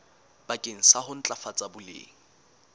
bakeng sa ho ntlafatsa boleng